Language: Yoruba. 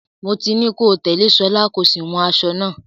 Mo ti ní kó tẹ̀lé Ṣọlá, kó sì wun aṣọ náà.